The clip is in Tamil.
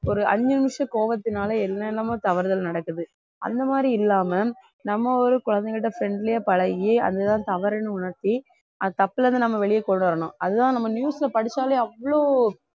ஒரு அஞ்சு நிமிஷம் கோவத்தினால என்னென்னமோ தவறுதல் நடக்குது அந்த மாதிரி இல்லாம நம்ம ஒரு குழந்தைகிட்ட friendly யா பழகி அதுதான் தவறுன்னு உணர்த்தி தப்புல இருந்து நம்ம வெளிய கொண்டு வரணும் அதுதான் நம்ம news ல படிச்சாலே அவ்ளோ